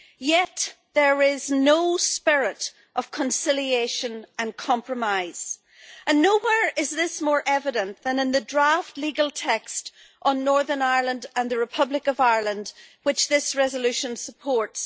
Yet there is no spirit of conciliation and compromise, and nowhere is this more evident than in the draft legal text on Northern Ireland and the Republic of Ireland which this resolution supports.